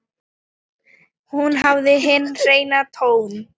Hún hafði hinn hreina tón.